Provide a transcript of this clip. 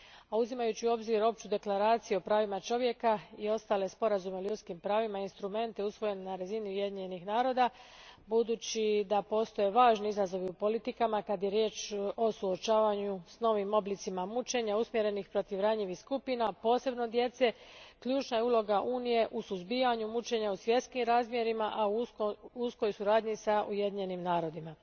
A uzimajući u obzir Opću deklaraciju o pravima čovjeka i ostale sporazume o ljudskim pravima i instrumente usvojene na razini Ujedinjenih naroda, budući da postoje važni izazovi u politikama kad je riječ o suočavanju s novim oblicima mučenja usmjerenih protiv ranjivih skupina posebno djece, ključna je uloga Unije u suzbijanju mučenja u svjetskim razmjerima, a u uskoj suradnji s Ujedinjenim narodima.